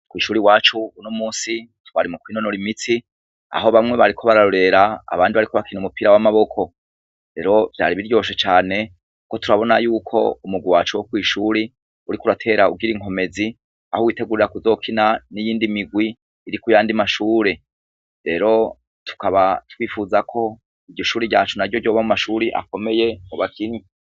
Kw'ishure iwacu uno munsi twari mukwi nonora imitsi aho bamwe bariko bararore, abandi bariko bakina umupira w'amaboko, rero vyari biryoshe cane aho tubona yuko umurwi wacu wo kw'ishure uriko iratera ugir 'inkomezi, aho witegurir kuzokina niyindi mirwi yo kuyandi mashure, rero tukaba twipfuza yuko umurwi wacu ryoba mu mashure akomeye mu bakinyi.